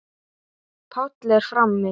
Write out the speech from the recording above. Páll er frammi.